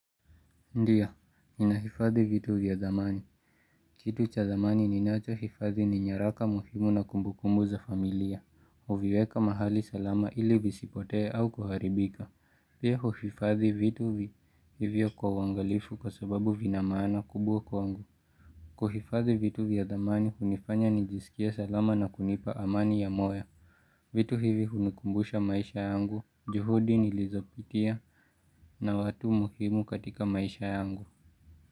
Ndio, ninahifadhi vitu vya dhamani. Kitu cha dhamani ni nachohifadhi ni nyaraka muhimu na kumbukumbu za familia, huviweka mahali salama ili visipotee au kuharibika. Pia huhifadhi vitu vivyo kwa uangalifu kwa sababu vina maana kubwa kwangu. Kuhifadhi vitu vya dhamani, hunifanya nijisikie salama na kunipa amani ya moyo. Vitu hivi hunikumbusha maisha yangu, juhudi nilizopitia na watu muhimu katika maisha yangu.